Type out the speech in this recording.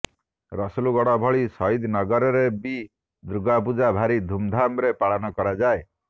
ରସୁଲଗଡ଼ ଭଳି ସହିଦନଗରରେ ବି ଦୁର୍ଗାପୂଜା ଭାରି ଧୁମ୍ ଧାମ୍ରେ ପାଳନ କରାଯାଏ